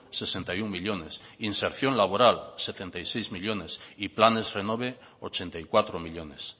sesenta y uno millónes inserción laboral setenta y seis millónes y planes renove ochenta y cuatro millónes